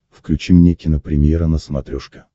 включи мне кинопремьера на смотрешке